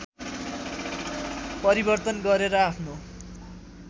परिवर्तन गरेर आफ्नो